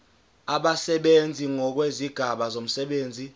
abasebenzi ngokwezigaba zomsebenzi